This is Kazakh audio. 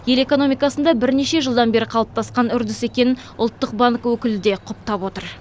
ел экономикасында бірнеше жылдан бері қалыптасқан үрдіс екенін ұлттық банк өкілі де құптап отыр